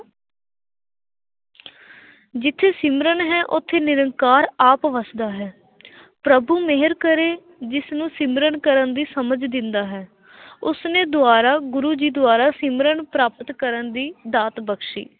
ਜਿੱਥੇ ਸਿਮਰਨ ਹੈ, ਉੱਥੇ ਨਿਰੰਕਾਰ ਆਪ ਵਸਦਾ ਹੈ ਪ੍ਰਭੂ ਮਿਹਰ ਕਰੇ, ਜਿਸਨੂੰ ਸਿਮਰਨ ਕਰਨ ਦੀ ਸਮਝ ਦਿੰਦਾ ਹੈ ਉਸਨੇ ਦੁਆਰਾ ਗੁਰੂ ਜੀ ਦੁਆਰਾ ਸਿਮਰਨ ਪ੍ਰਾਪਤ ਕਰਨ ਦੀ ਦਾਤ ਬਖ਼ਸ਼ੀ।